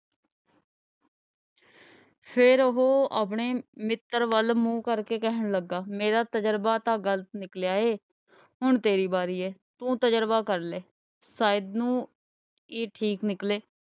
ਫੇਰ ਉਹ ਆਪਣੇ ਮਿੱਤਰ ਵੱਲ ਮੂੰਹ ਕਰਕੇ ਕਹਿਣ ਲੱਗਾ ਮੇਰਾ ਤਜ਼ਰਬਾ ਤਾਂ ਗ਼ਲਤ ਨਿਕਲਿਆ ਏ ਹੁਣ ਤੇਰੀ ਵਾਰੀ ਏ ਤੂੰ ਤਜ਼ਰਬਾ ਕਰ ਲਏ ਸ਼ਾਇਦ ਨੂੰ ਇਹ ਠੀਕ ਨਿਕਲੇ।